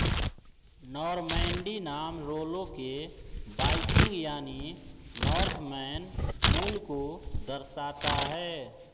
Normandy नाम Rollo के Viking यानी नॉर्थमैन मूल को दर्शाता है